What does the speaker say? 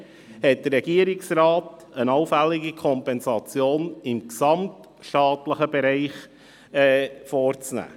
Vielmehr hat der Regierungsrat eine allfällige Kompensation im gesamtstaatlichen Bereich vorzunehmen.